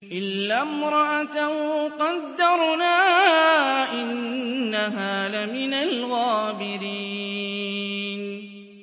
إِلَّا امْرَأَتَهُ قَدَّرْنَا ۙ إِنَّهَا لَمِنَ الْغَابِرِينَ